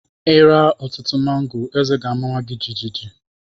Ịra ọtụtụ mango, eze gi amawa jijiji